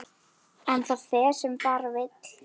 En það fer sem fara vill.